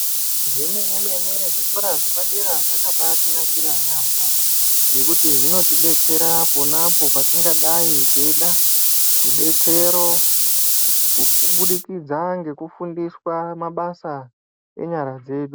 Zvemene-mene zvikora zvepadera zvakabaatinakira yaampho, ngekuti zvinotidetsera pona apo patingadai teida, rudetsero kukubudikidza ngekufundiswa mabasa enyara dzedu.